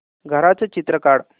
घराचं चित्र काढ